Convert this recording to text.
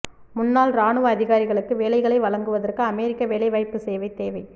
முன்னாள் இராணுவ அதிகாரிகளுக்கு வேலைகளை வழங்குவதற்கு அமெரிக்க வேலைவாய்ப்பு சேவை தேவை